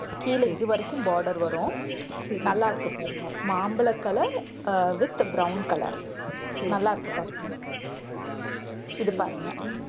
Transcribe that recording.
கீழே இது வரைக்கும் border வரும் நல்லா இருக்கு பாருங்க. மாம்பழ color அஹ் with brown color சரி. நல்லாருக்கு பாருங்க இது பாருங்க